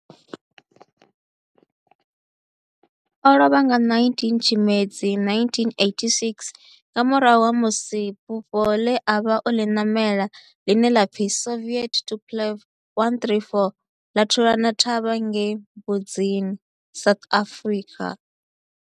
O lovha nga 19 Tshimedzi 1986 nga murahu ha musi bufho le a vha o li namela, line la pfi Soviet Tupolev 134 la thulana thavha ngei Mbuzini, South Africa.